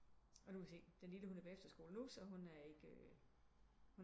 Og nu må vi se den lille hun er på efterskole nu så hun er ikke